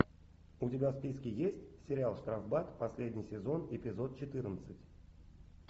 у тебя в списке есть сериал штрафбат последний сезон эпизод четырнадцать